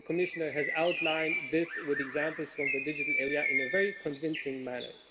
The Commissioner has outlined this with examples from the digital area in a very convincing manner.